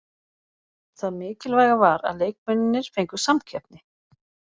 Það mikilvæga var að leikmennirnir fengu samkeppni.